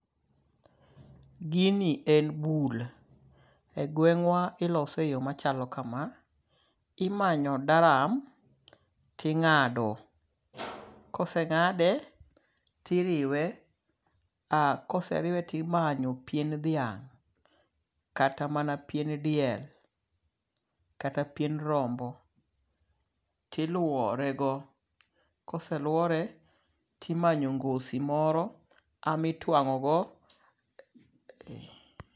Gini en bul. Egweng'wa ilose eyo machalo kama. Imanyo daram ting'ado. Koseng'ade, tiriwe. Koseriwe timanyo pien dhiang' kata mana pien diel, kata pien rombo. Tiluore go. Koseluore timanyo ngosi moro emitwang'ogo.